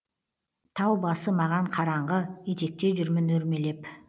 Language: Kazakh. тау басы маған қараңғы етекте жүрмін өрмелеп